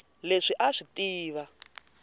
leswi a a swi tiva